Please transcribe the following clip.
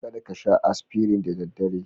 Kada ka sha Aspirin da daddare.